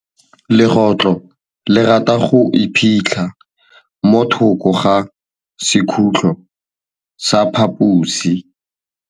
Legôtlô le rata go iphitlha mo thokô ga sekhutlo sa phaposi.